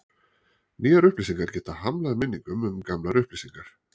Nýjar upplýsingar geta hamlað minningum um gamlar upplýsingar.